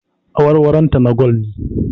Awarwaronta na gwal ne